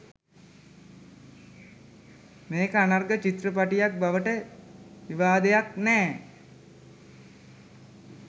මේක අනර්ග චිත්‍රපටයක් බවට විවාදයක් නෑ